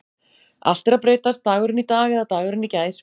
Allt er að breytast Dagurinn í dag eða dagurinn í gær?